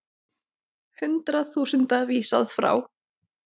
Hundruð þúsunda vísað frá